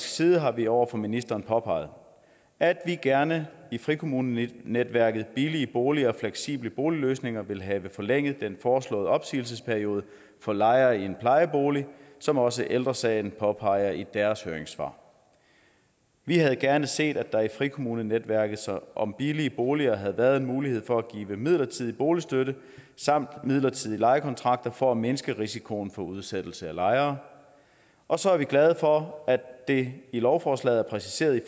side har vi over for ministeren påpeget at vi gerne i frikommunenetværket billige boliger og fleksible boligløsninger vil have forlænget den foreslåede opsigelsesperiode for lejere i en plejebolig som også ældre sagen påpeger i deres høringssvar vi havde gerne set at der i frikommunenetværket om billige boliger havde været mulighed for at give midlertidig boligstøtte samt midlertidige lejekontrakter for at mindske risikoen for udsættelse af lejere og så er vi glade for at det i lovforslaget er præciseret